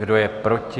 Kdo je proti?